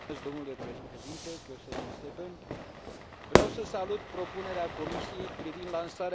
Vreau să salut propunerea Comisiei privind lansarea primului Parteneriat european pentru inovare.